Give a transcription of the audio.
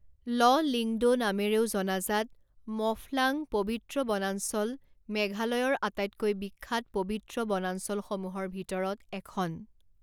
ল লিংদো নামেৰেও জনাজাত ম'ফলাং পৱিত্ৰ বনাঞ্চল মেঘালয়ৰ আটাইতকৈ বিখ্যাত পৱিত্ৰ বনাঞ্চলসমূহৰ ভিতৰত এখন।